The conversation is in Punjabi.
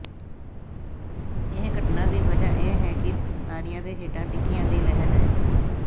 ਇਸ ਘਟਨਾ ਦੀ ਵਜ੍ਹਾ ਇਹ ਹੈ ਕਿ ਤਾਰਿਆਂ ਦੇ ਹੇਠਾਂ ਟਿੱਕਿਆਂ ਦੀ ਲਹਿਰ ਹੈ